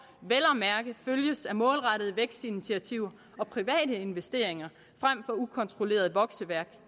vel at mærke følges af målrettede vækstinitiativer og private investeringer frem for ukontrolleret vokseværk